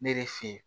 Ne de fe yen